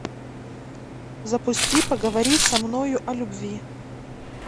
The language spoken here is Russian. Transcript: запусти поговори со мною о любви